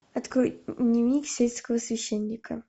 открой дневник сельского священника